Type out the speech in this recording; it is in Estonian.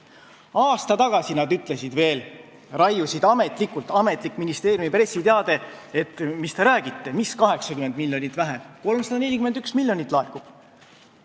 " Aasta tagasi nad raiusid veel ametlikult, ametlikus ministeeriumi pressiteates, et mis te räägite, mis 80 miljonit vähem – 341 miljonit laekub.